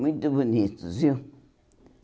Muito bonitos, viu?